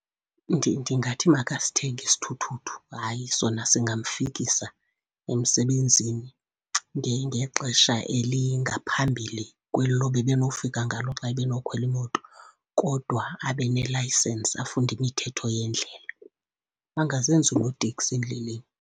Ndingathi makasithenge isithuthuthu. Hayi, sona singamfikisa emsebenzini ngexesha elingaphambili kwelo ebenofika ngalo xa ebenokhwela imoto. Kodwa abe ne-licence, afunde imithetho yendlela, angazenzi unoteksi endleleni.